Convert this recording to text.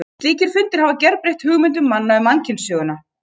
Slíkir fundir hafa gerbreytt hugmyndum manna um mannkynssöguna.